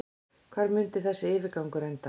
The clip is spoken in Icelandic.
Hvar mundi þessi yfirgangur enda?